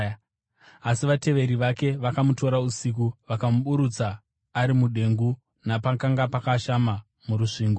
Asi vateveri vake vakamutora usiku vakamuburutsa ari mudengu napakanga pakashama murusvingo.